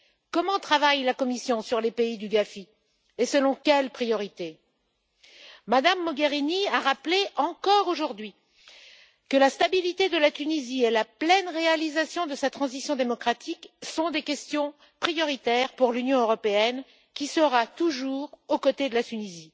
Comment travaille la Commission sur les pays du GAFI et selon quelles priorités? Mme Mogherini a rappelé, encore aujourd'hui, que la stabilité de la Tunisie et la pleine réalisation de sa transition démocratique sont des questions prioritaires pour l'Union européenne, qui sera toujours aux côtés de ce